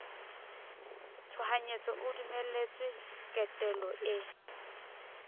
tshohanyetso o dumeletswe ketelo e